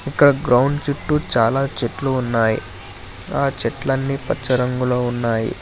ఇక్కడ గ్రౌండ్ చుట్టూ చాలా చెట్లు ఉన్నాయ్ ఆ చెట్లన్నీ పచ్చ రంగులో ఉన్నాయి.